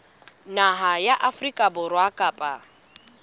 naha ya afrika borwa kapa